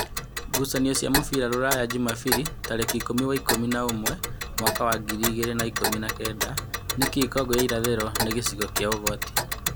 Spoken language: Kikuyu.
Ngucanio cia mũbira Ruraya Jumabiri tarĩki ikũmi wa ikũmi na ũmwe mwaka wa ngiri igĩrĩ na ikũmi na-kenda. Nĩkĩĩ Kongo wa irathĩro nĩ gĩcigo kĩa ũgwati ?